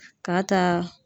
K'a ta